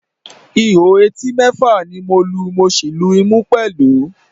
Ihò etí mẹ́fà ni mo lu, mo sì lu ìmú pẹ̀lú